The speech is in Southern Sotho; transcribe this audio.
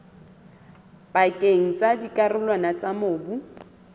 pakeng tsa dikarolwana tsa mobu